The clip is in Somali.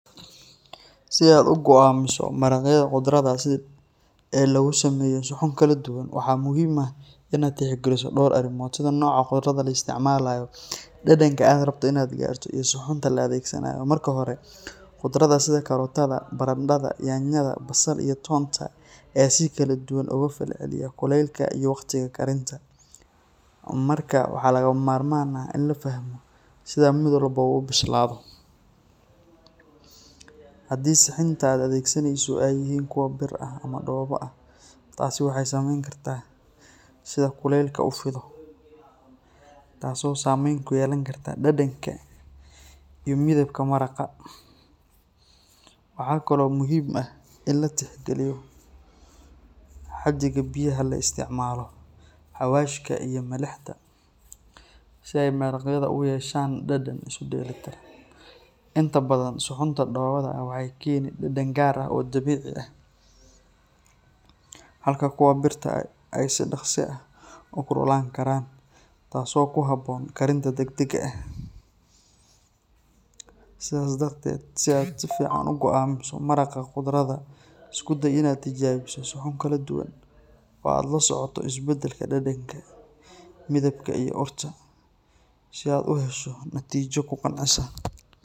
Si aad u go'aamiso maraqyada qudrada ee lagu sameeyo suxuun kala duwan, waxaa muhiim ah in aad tixgeliso dhowr arrimood sida nooca qudrada la isticmaalayo, dhadhanka aad rabto in aad gaarto, iyo suxuunta la adeegsanayo. Marka hore, qudrada sida karootada, barandhada, yaanyada, basal iyo toonta ayaa si kala duwan uga falceliya kulaylka iyo waqtiga karinta, markaa waxaa lagama maarmaan ah in la fahmo sida mid walba u bislaado. Haddii suxuunta aad adeegsanayso ay yihiin kuwo bir ah ama dhoobo ah, taasi waxay saamayn kartaa sida kulaylka u fido, taasoo saameyn ku yeelan karta dhadhanka iyo midabka maraqa. Waxa kale oo muhiim ah in la tixgeliyo xaddiga biyaha la isticmaalo, xawaashka iyo milixda, si ay maraqyada u yeeshaan dhadhan isu dheeli tiran. Inta badan, suxuunta dhoobada ah waxay keenaan dhadhan gaar ah oo dabiici ah, halka kuwa birta ah ay si dhakhso ah u kululaan karaan, taasoo ku habboon karinta degdegga ah. Sidaas darteed, si aad si fiican u go'aamiso maraqa qudrada, isku day in aad tijaabiso suxuun kala duwan oo aad la socoto isbeddelka dhadhanka, midabka iyo urta, si aad u hesho natiijo ku qancisa.